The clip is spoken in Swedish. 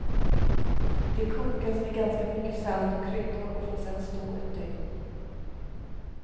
Det kokas med ganska mycket salt och kryddor och får sedan stå ett dygn.